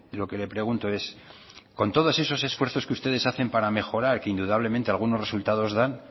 lo que le pregunto es con todos esos esfuerzos que ustedes hacen para mejorar que indudablemente algunos resultados dan